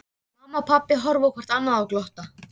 Mamma og pabbi horfa hvort á annað og glotta.